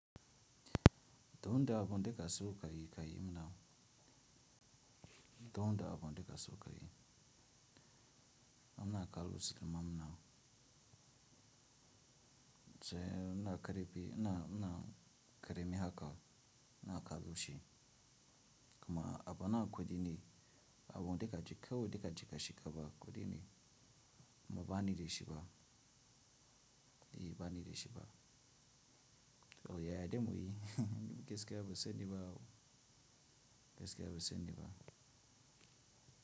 Duk aun da kake so kayi kayi mana. Duk abun da kake so kayi, muna kallon su mana. Tsaya ina ƙara mi haka ina kallon shi kuma abu na kuɗi ne abu duka ji cika ba kuɗi ne ba bani dashi ba. Yi ba ni da shi ba. Kawai ya yadda mu yi. Gaskiya ban sani ba wo. Geske ya buse ni ba.